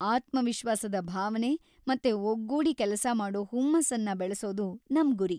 ಆತ್ಮವಿಶ್ವಾಸದ ಭಾವನೆ ಮತ್ತೆ ಒಗ್ಗೂಡಿ ಕೆಲಸಮಾಡೋ ಹುಮ್ಮಸ್ಸನ್ನ ಬೆಳೆಸೋದು ನಮ್ ಗುರಿ.